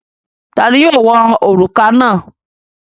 Ta ni yóò wọ òrùka náà?